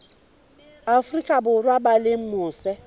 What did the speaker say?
afrika borwa ba leng mose